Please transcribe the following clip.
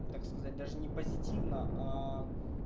ну так сказать даже не позитивно